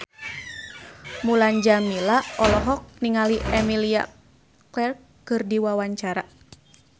Mulan Jameela olohok ningali Emilia Clarke keur diwawancara